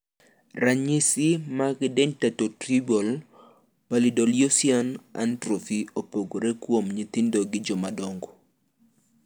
Ranyisi mag Dentatorubral pallidoluysian atrophy opogore kuom nyithindo gi jomadongo.